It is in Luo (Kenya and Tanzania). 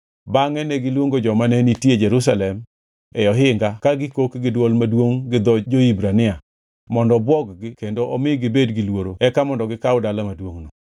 Bangʼe negiluongo joma ne nitie Jerusalem e ohinga ka gikok gi dwol maduongʼ gi dho jo-Hibrania mondo obwog-gi kendo omi gibed gi luoro eka mondo gikaw dala maduongʼno.